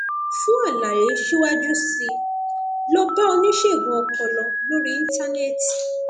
fún àlàyé síwájú sí i lọ bá oníṣègùn ọpọlọ lórí íńtánẹẹtì